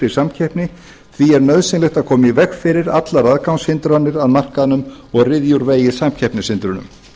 samkeppni því er nauðsynlegt að koma í veg fyrir allar aðgangshindranir að markaðnum og ryðja úr vegi samkeppnishindrunum